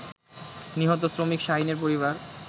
নিহত শ্রমিক শাহীনের পরিবার